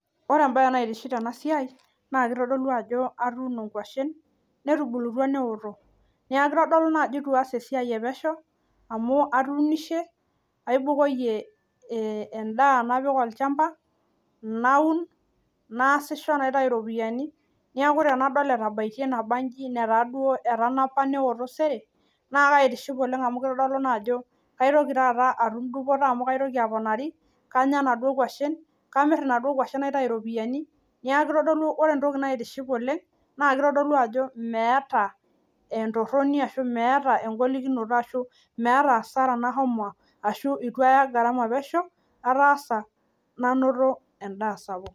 Ore embaye naitiship tena siai naa keitodolu ajo atuuno inkoshen netubulutwa neoto. Naaku keitodolu naa ajo eitu aas esiai epesheu amu atuunishe, eibukoiye endaa napik olchamba, naun, naasisho naitai iropiyiani, neaku tenadol etabaite nabaanji netaa duo etanapa neoto sere, naa kaitiship oleng amu keitodolu ajo kaitoki taata atum dupoto amu kaitoki aponari, kanya enaduo inguashen, kamir enaduo inkoshen naitai iropiyiani, neaku eitodolu ore entoki naitaiship oleng, naa keitodolu ajo meata entoroni ashu meata engolikinoto ashu meaata asara nashomo ashu eitu ata garama pesheu, ataasa nanoto endaa sapuk.